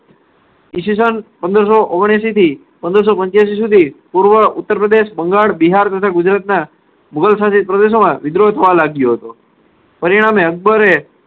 ઈસ્વીસન પંદર સો ઓગણએસીથી પંદર સો પંચ્યાસી સુધી ઉત્તર પ્રદેશ બંગાળ બિહાર તથા ગુજરાતના મુગલ સાથે પ્રદેશોમાં વિદ્રોહ થવા લાગ્યો હતો. પરિણામે અકબરે